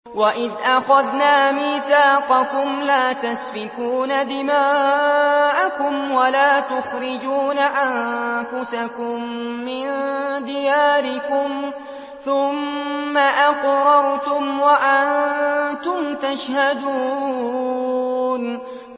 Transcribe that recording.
وَإِذْ أَخَذْنَا مِيثَاقَكُمْ لَا تَسْفِكُونَ دِمَاءَكُمْ وَلَا تُخْرِجُونَ أَنفُسَكُم مِّن دِيَارِكُمْ ثُمَّ أَقْرَرْتُمْ وَأَنتُمْ تَشْهَدُونَ